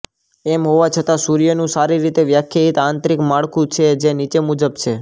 એમ હોવા છતાં સૂર્યનું સારી રીતે વ્યાખ્યાયિત આંતરિક માળખું છે જે નીચે મુજબ છે